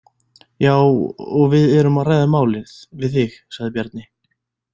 Já, og við erum að ræða málið við þig, sagði Bjarni.